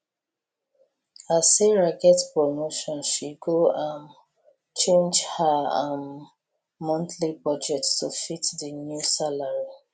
as sarah get promotion she go um change ha um monthly budget to fit di new salary